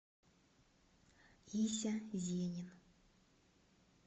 ися зенин